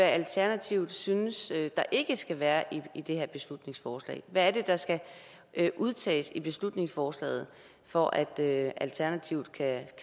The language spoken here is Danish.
alternativet synes der ikke skal være i det her beslutningsforslag hvad er det der skal udtages af beslutningsforslaget for at alternativet kan